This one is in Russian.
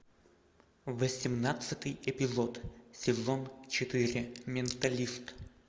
восемнадцатый эпизод сезон четыре менталист